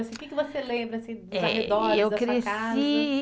O que que você lembra assim dos arredores da sua casa?